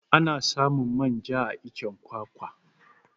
Ana samun manja a iccen kwakwa